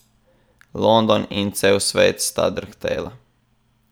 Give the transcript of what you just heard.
London in cel svet sta drhtela!